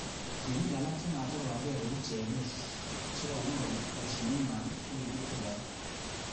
Tienik alak chematikobarkei kou Chelel chekomwa kole kashinet nywa kokikitil kora